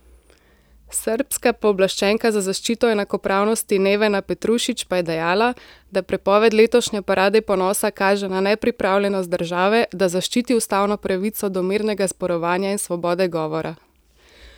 Srbska pooblaščenka za zaščito enakopravnosti Nevena Petrušić pa je dejala, da prepoved letošnje parade ponosa kaže na nepripravljenost države, da zaščiti ustavno pravico do mirnega zborovanja in svobode govora.